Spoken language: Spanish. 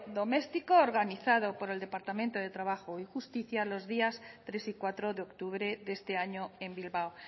doméstico organizado por el departamento de trabajo y justicia los días tres y cuatro de octubre de este año en bilbao